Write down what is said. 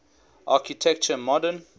architecture modern